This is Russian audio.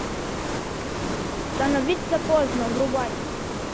становится поздно врубай